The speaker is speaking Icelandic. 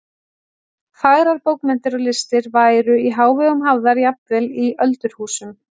Fagrar bókmenntir og listir væru í hávegum hafðar jafnvel í öldurhúsum.